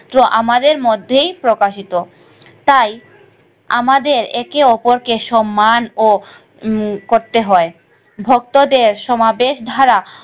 আমাদের মধ্যেই প্রকাশিত তাই আমাদের একে অপরকে সম্মান ও উম করতে হয়। ভক্তদের সমাবেশ দ্বারা,